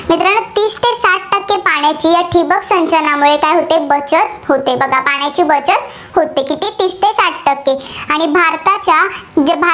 तर पाण्याची या ठिबक सिंचनामुळे काय होते, बचत होते. पाण्याची बचत होते. तीस ते साठ टक्के. आणि भारताच्या